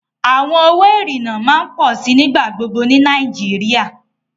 Awọn owo irinna ma n pọ si nigbagbogbo ni Nàìjíríà